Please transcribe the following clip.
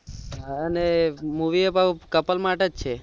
અને movie એ પાછુ movie માટે છે